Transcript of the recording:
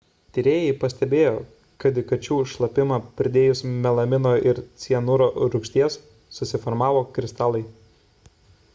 tyrėjai pastebėjo kad į kačių šlapimą pridėjus melamino ir cianuro rūgšties susiformavo kristalai